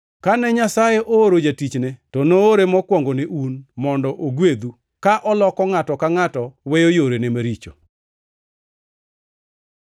Kane Nyasaye ooro Jatichne, to noore mokwongo ne un, mondo ogwedhu, ka oloko ngʼato ka ngʼato weyo yorene maricho.”